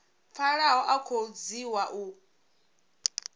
pfalaho a khou dzhiwa u